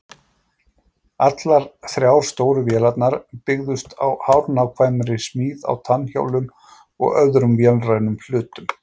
Allar þrjár stóru vélarnar byggðust á hárnákvæmri smíð á tannhjólum og öðrum vélrænum hlutum.